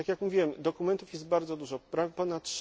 Tak jak mówiłem, dokumentów jest bardzo dużo, ponad